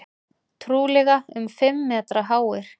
Trúlega um fimm metra háir.